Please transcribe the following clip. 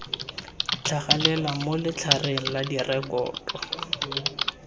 tlhagelela mo letlhareng la direkoto